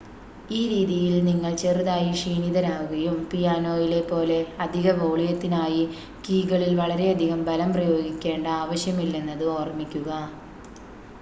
ഈ രീതിയിൽ നിങ്ങൾ ചെറുതായി ക്ഷീണിതരാകും പിയാനോയിലെ പോലെ അധിക വോളിയത്തിനായി കീകളിൽ വളരെയധികം ബലം പ്രയോഗിക്കേണ്ട ആവശ്യമില്ലെന്നത് ഓർമ്മിക്കുക